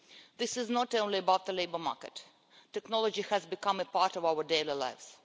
This is not only about the labour market technology has become a part of our daily lives.